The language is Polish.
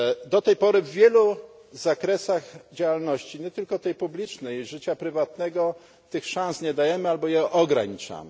Do tej pory w wielu zakresach działalności, nie tylko publicznej, ale i życia prywatnego, tych szans nie dajemy, albo je ograniczamy.